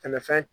Tɛmɛfɛn